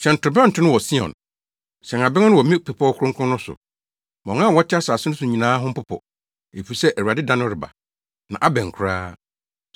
Hyɛn torobɛnto no wɔ Sion; hyɛn abɛn no wɔ me bepɔw kronkron no so. Ma wɔn a wɔte asase no so nyinaa ho mpopo, efisɛ Awurade da no reba, na abɛn koraa.